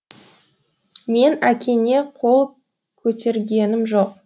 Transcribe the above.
мен әкеңе қол көтергенім жоқ